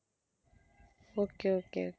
okay okay